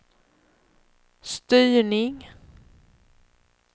styrning